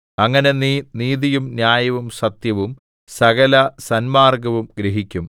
അങ്ങനെ നീ നീതിയും ന്യായവും സത്യവും സകലസന്മാർഗ്ഗവും ഗ്രഹിക്കും